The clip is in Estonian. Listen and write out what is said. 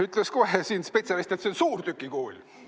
Ütles kohe siin spetsialist, et see on suurtükikuul.